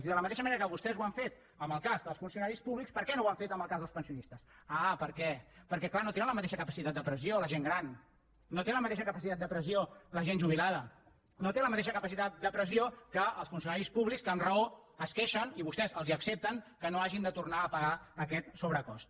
i de la mateixa manera que vostès ho han fet en el cas dels funcionaris públics per què no ho han fet en el cas dels pensionistes ah per què perquè clar no tenen la mateixa capacitat de pressió la gent gran no té la mateixa capacitat de pressió la gent jubilada no té la mateixa capacitat de pressió que els funcionaris públics que amb raó es queixen i vostès els accepten que no hagin de tornar a pagar aquest sobrecost